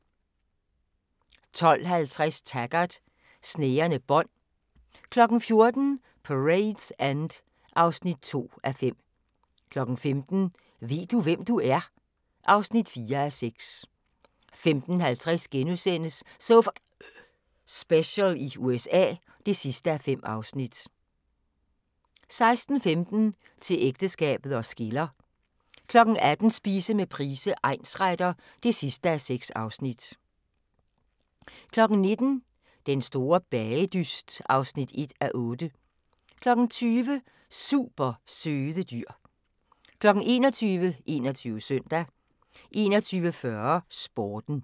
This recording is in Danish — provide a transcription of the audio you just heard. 12:50: Taggart: Snærende bånd 14:00: Parade's End (2:5) 15:00: Ved du, hvem du er? (4:6) 15:50: So F***ing Special i USA (5:5)* 16:15: Til ægteskabet os skiller 18:00: Spise med Price, egnsretter (6:6) 19:00: Den store bagedyst (1:8) 20:00: Super søde dyr 21:00: 21 Søndag 21:40: Sporten